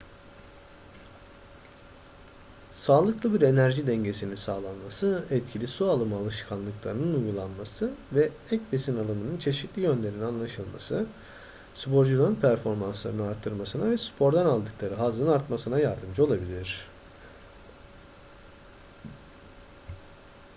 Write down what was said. sağlıklı bir enerji dengesinin sağlanması etkili su alımı alışkanlıklarının uygulanması ve ek besin alımının çeşitli yönlerinin anlaşılması sporcuların performanslarını artırmasına ve spordan aldıkları hazzın artmasına yardımcı olabilir